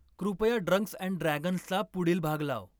कृपया drunks and ड्रॅगन्सचा पुढील भाग लाव